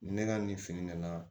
Ne ka nin fini nana